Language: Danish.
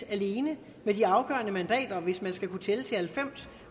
alene med de afgørende mandater hvis man skal kunne tælle til halvfems